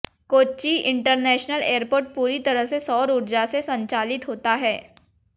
Kochi international airport पूरी तरह से सौर ऊर्जा से संचालित होता है